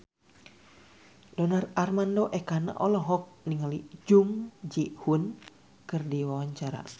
Donar Armando Ekana olohok ningali Jung Ji Hoon keur diwawancara